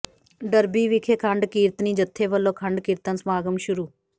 Derby ਵਿਖੇ ਅਖੰਡ ਕੀਰਤਨੀ ਜਥੇ ਵੱਲੋਂ ਅਖੰਡ ਕੀਰਤਨ ਸਮਾਗਮ ਸ਼ੁਰੂ